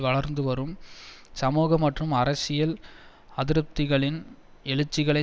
வளர்ந்துவரும் சமூக மற்றும் அரசியல் அதிருப்திகளின் எழுற்சிகளை